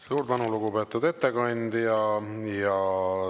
Suur tänu, lugupeetud ettekandja!